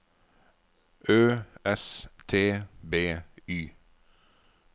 Ø S T B Y